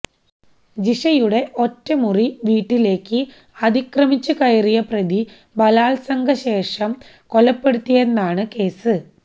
ജിഷയുടെ ഒറ്റമുറി വീട്ടിലേക്ക് അതിക്രമിച്ച് കയറിയ പ്രതി ബലാല്സംഗം ചെയ്ത ശേഷം കൊലപ്പെടുത്തിയെന്നാണ് കേസ്